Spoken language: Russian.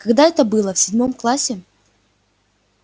когда это было в седьмом классе